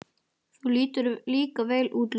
Þú lítur líka vel út, Lúna.